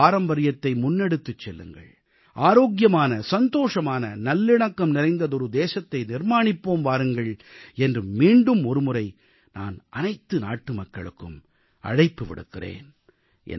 யோக பாரம்பரியத்தை முன்னெடுத்துச் செல்லுங்கள் ஆரோக்கியமான சந்தோஷமான நல்லிணக்கம் நிறைந்ததொரு தேசத்தை நிர்மாணிப்போம் வாருங்கள் என்று மீண்டும் ஒருமுறை நான் அனைத்து நாட்டுமக்களுக்கும் அழைப்பு விடுக்கிறேன்